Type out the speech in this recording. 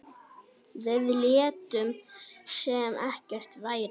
Við létum sem ekkert væri.